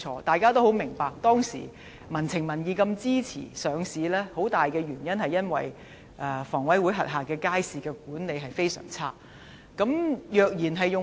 大家也十分明白，當時的民情民意這麼支持領匯上市，當中最重要的原因是香港房屋委員會轄下的街市的管理十分差。